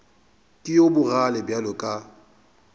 ke yo bogale bjalo ka